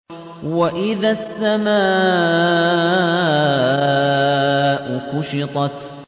وَإِذَا السَّمَاءُ كُشِطَتْ